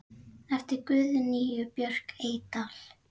eftir Guðnýju Björk Eydal